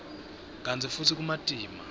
kantsi futsi kumatima